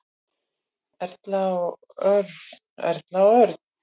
Erla og Örn. Erla og Örn.